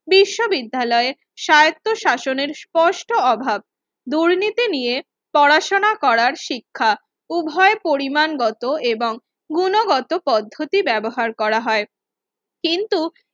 কিছু বিদ্যালয় স্বার্থশনের স্পষ্ট অভাব দুর্নীতি নিয়ে পড়াশোনা করা শিক্ষা উভয় পরিমাণগত এবং গুণগত পদ্ধতি ব্যবহার করা হয় কিন্তু